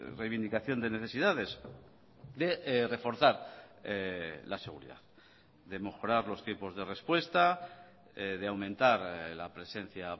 reivindicación de necesidades de reforzar la seguridad de mejorar los tiempos de respuesta de aumentar la presencia